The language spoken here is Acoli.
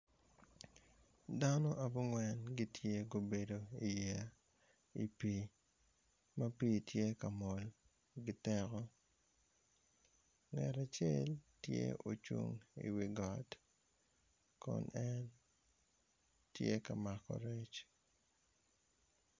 Dano abungwn gitye ka bedo i yeya i pi ma pi tye ka mol giteko ngat acel tye ka cung i wi got kun en tye ka mako rec.